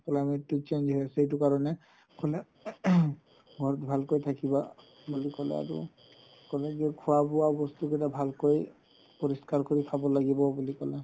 climate তো change হয় আছে সেইটো কাৰণে ক'লে throat ঘৰত ভালকৈ থাকিবা বুলি ক'লে আৰু ক'লে যে খোৱা বোৱা বস্তু বিলাক ভালকৈ পৰিষ্কাৰ কৰি খাব লাগিব ক'লে